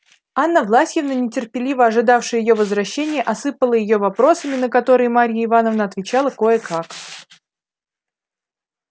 анна власьевна нетерпеливо ожидавшая её возвращения осыпала её вопросами на которые марья ивановна отвечала кое-как